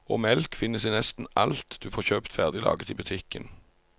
Og melk finnes i nesten alt du får kjøpt ferdiglaget i butikken.